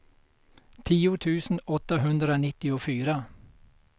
tio tusen åttahundranittiofyra